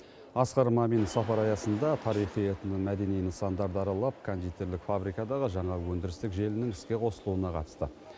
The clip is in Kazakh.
асқар мамин сапар аясында тарихи этномәдени нысандарды аралап кондитерлік фабрикадағы жаңа өндірістік желінің іске қосылуына қатысты